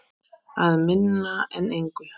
Að minna en engu.